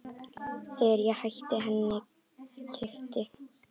Þegar ég hætti henni keypti